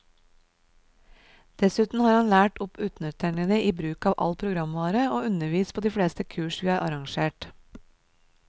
Dessuten har han lært opp undertegnede i bruk av all programvare, og undervist på de fleste kurs vi har arrangert.